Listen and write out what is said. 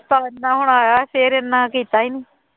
ਸੋਚਦਾ ਹੋਣਾ ਹੈ ਫਿਰ ਇੰਨਾ ਕੀਤਾ ਹੀ ਨੀ